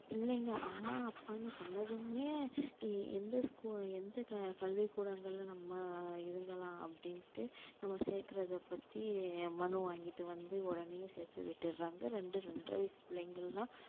பிள்ளைங்க அம்மா அப்பான்னு சொன்னதுமே எந்த ஸ்கூ~ எந்த கல்விக்கூடங்களில நம்ம இதுங்கலாம் அப்படின்னுட்டு நம்ம சேக்கிறத பத்தி மனு வாங்கிட்டு வந்து உடனேயே சேர்த்து விட்டிடுறாங்க ரெண்டு ரெண்டரை வயசு பிள்ளைங்க எல்லாம்